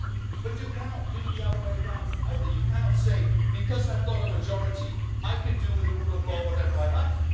But you cannot do it the other way round either. You cannot say because I've got a majority, I can do with the rule of law whatever I